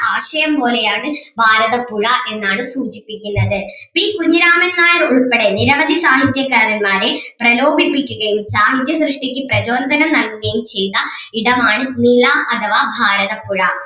ആശയം പോലെ ആണ് ഭാരതപ്പുഴ എന്നാണ് സൂചിപ്പിക്കുന്നത് പി കുഞ്ഞിരാമൻ നായർ ഉൾപ്പെടെ നിരവധി സാഹിത്യകാരന്മാരെ പ്രലോഭിപ്പിക്കുകയും സാഹിത്യ സൃഷ്ടിക്ക് പ്രജോദനം നൽകുകയും ചെയ്യുന്ന ഇടമാണ് നിള അഥവാ ഭാരതപ്പുഴ